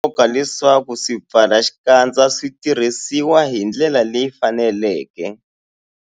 I swa nkoka leswaku swipfalaxikandza swi tirhisiwa hi ndlela leyi faneleke.